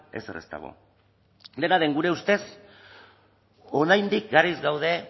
ezer ez dago dena den gure ustez oraindik garaiz gaude